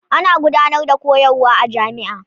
Ana gudanar da koyarwa a jami'a.